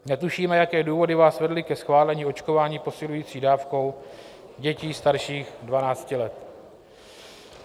Netušíme, jaké důvody vás vedly ke schválení očkování posilující dávkou dětí starších 12 let.